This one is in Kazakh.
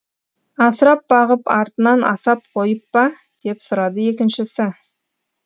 асырап бағып артынан асап қойып па деп сұрады екіншісі